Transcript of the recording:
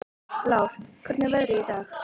Lár, hvernig er veðrið í dag?